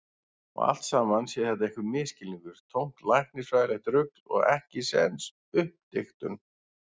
Og allt saman sé þetta einhver misskilningur, tómt læknisfræðilegt rugl og ekkisens uppdiktun.